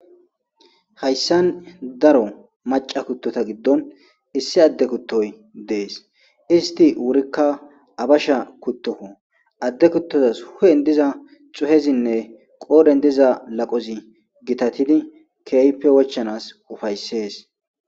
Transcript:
hayssan daro maca kuttota giddon issi adde kuttoy dees, isti wurikka abasha kuttokko,adde kuttozas hu'en diza xuhezinne qoodhen diza laqozi gitatidi keeyppe wochanas ufayssees